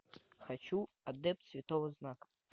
хочу адепт святого знака